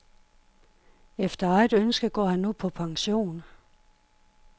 Efter eget ønske går han nu på pension.